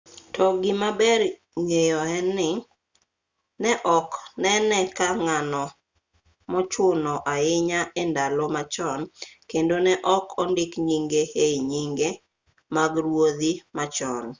to gima ber ng'eyo en ni ne ok nene ka ng'ano mochuno ahinya e ndalo machon kendo ne ok ondik nyinge ei nyinge mag ruodhi ma chon